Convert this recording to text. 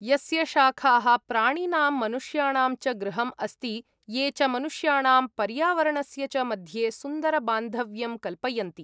यस्य शाखाः प्राणिनां मनुष्याणां च गृहम् अस्ति, ये च मनुष्याणां पर्यावरणस्य च मध्ये सुन्दरबान्धव्यं कल्पयन्ति।